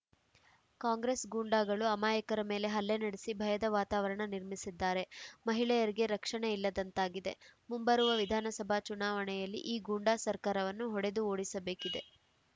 ಕಾಂಗ್ರೆಸ್‌ ಗೂಂಡಾಗಳು ಅಮಾಯಕರ ಮೇಲೆ ಹಲ್ಲೆ ನಡೆಸಿ ಭಯದ ವಾತಾವರಣ ನಿರ್ಮಿಸಿದ್ದಾರೆ ಮಹಿಳೆಯರಿಗೆ ರಕ್ಷಣೆ ಇಲ್ಲದಂತಾಗಿದೆ ಮುಂಬರುವ ವಿಧಾನಸಭಾ ಚುನಾವಣೆಯಲ್ಲಿ ಈ ಗೂಂಡಾ ಸರ್ಕಾರವನ್ನು ಹೊಡೆದು ಓಡಿಸಬೇಕಿದೆ